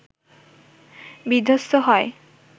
বিধ্বস্ত হয়